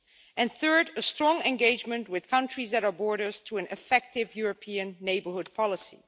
and third, a strong engagement with countries that our borders to an effective European neighbourhood policy.